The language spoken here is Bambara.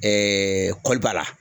kɔli b'a la.